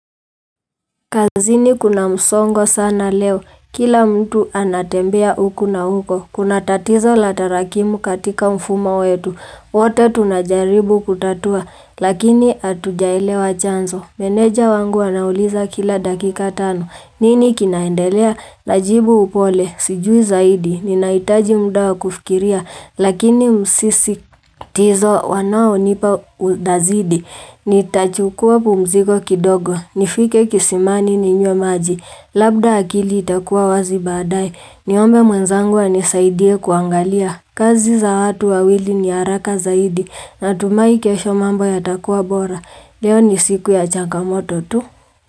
Kazini kuna msongo sana leo, kila mtu anatembea huku na huko, kuna tatizo la tarakimu katika mfumo wetu, wote tunajaribu kutatua, lakini hatujaelewa chanzo. Meneja wangu anauliza kila dakika tano. Nini kinaendelea? Najibu upole. Sijui zaidi. Ninahitaji muda wa kufikiria. Lakini msisitizo wanaonipa unazidi. Nitachukua pumziko kidogo. Nifike kisimani ninywe maji. Labda akili itakuwa wazi baadaye. Niombe mwenzangu anisaidie kuangalia. Kazi za watu wawili ni haraka zaidi natumai kesho mambo yatakuwa bora. Leo ni siku ya changamoto tu.